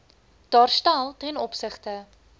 daarstel ten opsigte